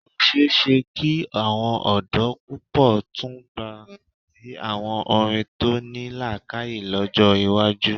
Ó ṣe é ṣe kí àwọn ọ̀dọ́ púpọ̀ tún gba ti àwọn orin tó ní làákàyè lọ́jọ́ iwájú.